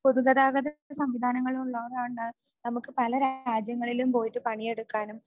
പൊതുഗതാഗത സംവിധാനങ്ങൾ ഉള്ളതുകൊണ്ടാണ് നമുക്ക് പലരാജ്യങ്ങളിലും പോയിട്ട് പണിയെടുക്കാനും